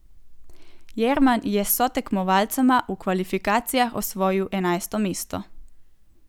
Jerman je s sotekmovalcema v kvalifikacijah osvojil enajsto mesto.